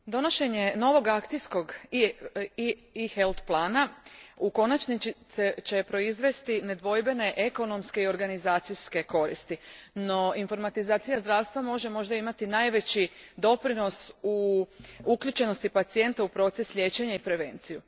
Gospodine predsjedniče, donošenje novog akcijskog eHealth plana u konačnici će proizvesti nedvojbene ekonomske i organizacijske koristi, no informatizacija zdravstva može možda imati najveći doprinos u uključenosti pacijenta u proces liječenja i prevenciju.